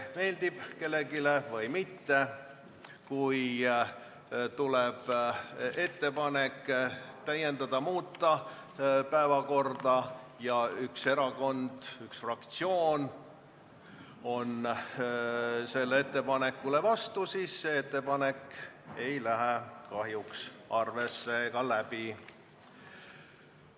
Meeldib see kellelegi või mitte, aga kui tuleb ettepanek täiendada või muuta päevakorda ja üks erakond, üks fraktsioon on sellele ettepanekule vastu, siis ei lähe see ettepanek kahjuks arvesse ega läbi.